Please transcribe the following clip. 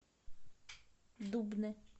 дубны